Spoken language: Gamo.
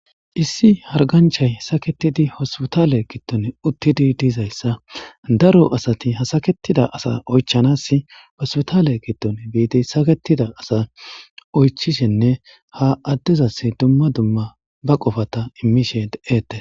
issi harganchay saketidi hospotaale gidtone uttidi diizayssa daro asati hasaketida asa oychanas hospotale giddon biidi saketida asa oychishenne ha addezas dumma dumma ba qofata immishe de7ette